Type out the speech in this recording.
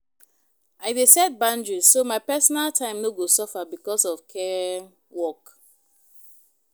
I dey set boundaries so my personal time no go suffer because of care work.